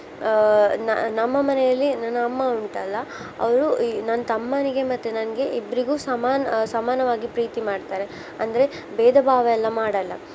ಆ ನ~ ನಮ್ಮ ಮನೆಯಲ್ಲಿ ನನ್ನ ಅಮ್ಮ ಉಂಟಲ್ಲಾ ಅವ್ಳು ಈ ನನ್ನ್ ತಮ್ಮನಿಗೆ ಮತ್ತೆ ನಂಗೆ ಇಬ್ರಿಗು ಸಮಾನ್~ ಸಮಾನವಾಗಿ ಪ್ರೀತಿ ಮಾಡ್ತಾರೆ ಅಂದ್ರೆ ಬೇಧ ಭಾವ ಎಲ್ಲ ಮಾಡಲ್ಲಾ.